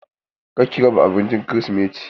Kar ki raba abincin kirisimeti!